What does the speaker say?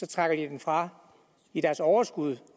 trækker den fra i deres overskud